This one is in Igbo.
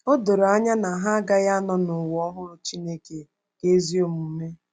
O doro anya na ha agaghị anọ n’ụwa ọhụrụ Chineke nke ezi omume.